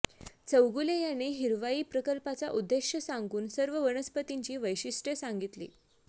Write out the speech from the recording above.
चौगुले यांनी हिरवाई प्रकल्पाचा उद्देश सांगून सर्व वनस्पतींची वैशिष्टय़े सांगितली